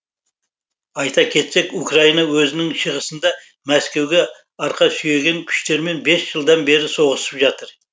айта кетсек украина өзінің шығысында мәскеуге арқа сүйеген күштермен бес жылдан беріп соғысып жатыр